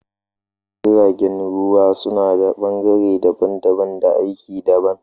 Jiragen ruwa su nada bangare daban daban da aiki daban